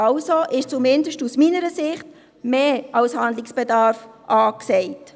Also ist zumindest aus meiner Sicht als Handlungsbedarf angesagt.